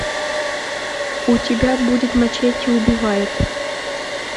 у тебя будет мачете убивает